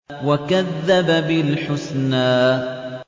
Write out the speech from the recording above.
وَكَذَّبَ بِالْحُسْنَىٰ